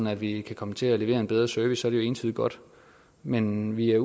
at vi kan komme til at levere en bedre service det jo entydigt godt men vi er